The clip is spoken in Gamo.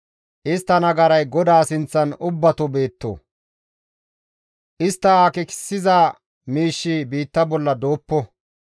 Istta nagaray GODAA sinththan ubbato beetto; istta akeekissiza miishshi biitta bolla dooppo.